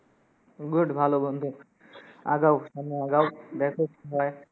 Good ভালো বন্ধু, আগাও সামনে আগাও, দেখো কি হয়।